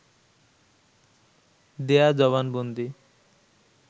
দেয়া জবানবন্দি